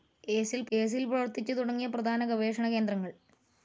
ഏസിൽ പ്രവർത്തിച്ചു തുടങ്ങിയ പ്രധാന ഗവേഷണ കേന്ദ്രങ്ങൾ